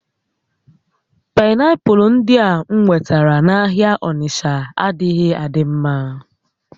Painiapulu ndia m nwetara n'ahịa Onitsha adighi adi nma